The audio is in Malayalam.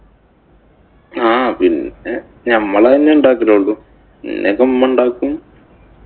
ആഹ് പിന്നെ നമ്മള് തന്നെയാ ഉണ്ടാക്കലുള്ളൂ. പിന്നെ ഒക്കെ ഉമ്മ ഉണ്ടാക്കും.